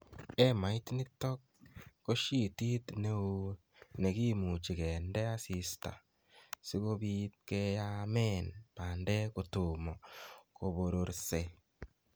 emait nitok ko shyitit ne oo ne kimuuchi kende asiista si kobiitkeyaamen bandek kotomo kobororse.